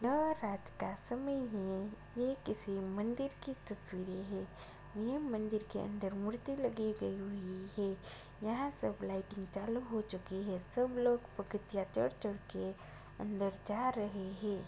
यह रात का समय है ये किसी मंदिर की तस्वीर है ये मंदिर के अंदर मूर्ति लगी गई है यहाँ सब लाइटिंग चालू हो चुकी है सब लोग के चढ़-चढ़ के अंदर जा रहे हैं।